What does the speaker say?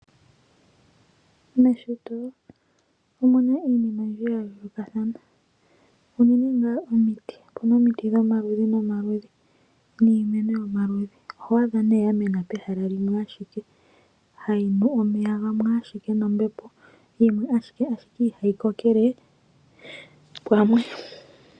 Meshito omu na iinima oyindji ya yoolokathana unene ngaa omiti. Opu na omiti dhomaludhi nomaludhi niimeno yomaludhi. Oho adha ya mena pehala limwe, hayi nu omeya gamwe nombepo yimwe, ashike ihayi kokele pamwe.